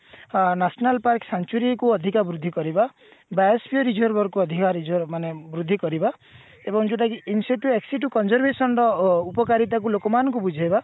ଆ national park century କୁ ଅଧିକ ବୃଦ୍ଧି କରିବା biopsy reserve କୁ ଅଧିକା reserve ମାନେ ବୃଦ୍ଧି କରିବା ଏବଂ ଯୋଉଟା କି conjuration ର ଅ ଉପକାରିତା କୁ ଲୋକମାନଙ୍କୁ ବୁଝେଇବା